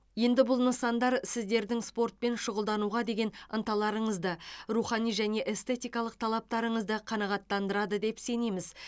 енді бұл нысандар сіздердің спортпен шұғылдануға деген ынталарыңызды рухани және эстетикалық талаптарыңызды қанағаттандырады деп сенеміз